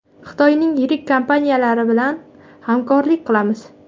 Xitoyning yirik kompaniyalari bilan hamkorlik qilamiz.